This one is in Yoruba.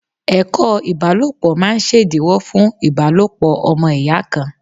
Ẹ̀kọ́ ìbálòpọ̀ máa ṣèdíwọ́ fún ìbálòpọ̀ ọmọ ìyá kan.